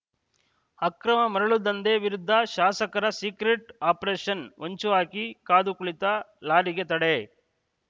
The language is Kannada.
ಅಕ್ರಮ ಮರಳು ದಂಧೆ ವಿರುದ್ಧ ಶಾಸಕರ ಸೀಕ್ರೆಟ್‌ ಆಪರೇಷನ್‌ ಹೊಂಚು ಹಾಕಿ ಕಾದು ಕುಳಿತ ಲಾಡಿಗೆ ತಡೆ